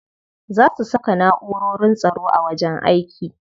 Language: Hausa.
Za su saka na'urorin tsaro a wajen aiki.